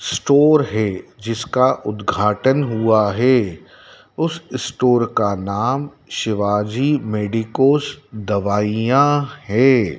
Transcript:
Store है जिसका उद्घाटन हुआ है उस स्टोर का नाम शिवाजी मेडिकोज दवाइयां है।